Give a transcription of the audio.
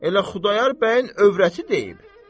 Elə Xudayar bəyin övrəti deyib.